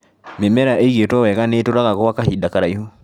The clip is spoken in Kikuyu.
Mĩmera ĩigĩtwo wega nĩ ĩtũraga gwa kahinda karaihu.